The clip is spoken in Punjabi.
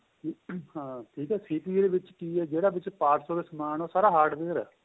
ਹਾਂ ਠੀਕ ਏ CPU ਦੇ ਵਿੱਚ ਕਿ ਏਹ ਜਿਹੜਾ ਵਿੱਚ parts ਉਹਦੇ ਸਮਾਨ ਉਹ ਸਾਰਾ hardware ਏਹ